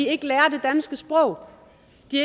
ikke lærer det danske sprog